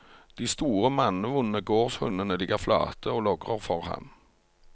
De store, mannevonde gårdshundene ligger flate og logrer for ham.